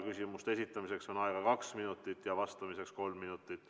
Küsimuste esitamiseks on aega kaks minutit, vastamiseks kolm minutit.